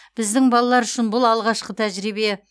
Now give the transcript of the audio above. біздің балалар үшін бұл алғашқы тәжірибе